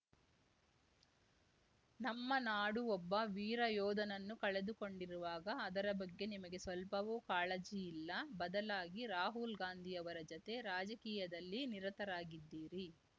ನಮ್ಮ ನಾಡು ಒಬ್ಬ ವೀರ ಯೋಧನನ್ನು ಕಳೆದುಕೊಂಡಿರುವಾಗ ಅದರ ಬಗ್ಗೆ ನಿಮಗೆ ಸ್ವಲ್ಪವೂ ಕಾಳಜಿ ಇಲ್ಲ ಬದಲಾಗಿ ರಾಹುಲ್‌ಗಾಂಧಿ ಅವರ ಜತೆ ರಾಜಕೀಯದಲ್ಲಿ ನಿರತರಾಗಿದ್ದೀರಿ